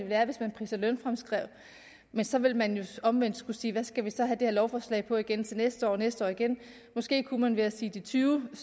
være hvis man pris og lønfremskrev men så ville man jo omvendt skulle sige skal vi så have det her lovforslag på igen til næste år og næste år igen måske kunne man ved at sige tyvetusind